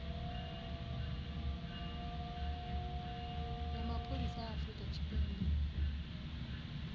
ya mapholisa a afurika tshipembe